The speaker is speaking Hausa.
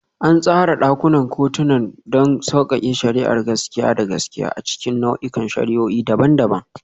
An tsara ɗakunan kotuna don sauƙaƙe shari'ar gaskiya da gaskiya a cikin nau'ikan shari'o'i daban-daban.